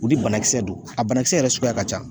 U ni banakisɛ don, a banakisɛ yɛrɛ suguya ka ca.